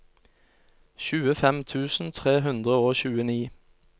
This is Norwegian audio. tjuefem tusen tre hundre og tjueni